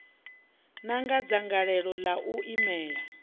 na dzangalelo ḽa u imelela